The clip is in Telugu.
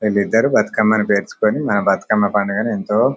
వీళ్ళు ఇద్దరు బతుకమ్మను ప్రాచుకోని మన బతుకమ్మ పండగను ఎంతో.